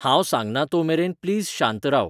हांंव सांगना तो मेरेन प्लीज शांत राव